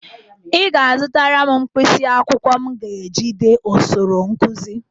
Ị ga-azụtara m mkpisi akwụkwọ m ga-eji dee osoro nkụzị